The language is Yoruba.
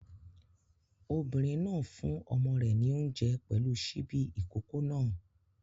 Obìnrin náà fún ọmọ rẹ̀ ní oúnjẹ pẹ̀lú ṣíbí ìkókó náà.